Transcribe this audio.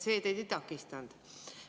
See teid ei takistanud.